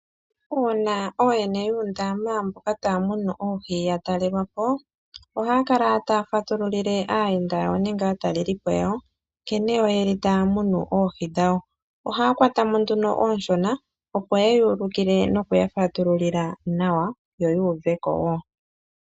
Uuna ooyene yuundama mboka taya munu oohi yatalelwapo, ohaya kala taya fatululile aayenda yawo nenge aatalelipo yawo, nkene taya munu oohi dhawo. Ohaya kwata mo nduno oonshona, opo yeya ulukile nokuyafatululila nawa, yo yu uveko.